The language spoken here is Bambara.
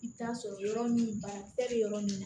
I bɛ t'a sɔrɔ yɔrɔ min bana tɛ yɔrɔ min na